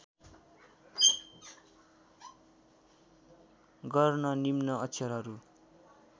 गर्न निम्न अक्षरहरू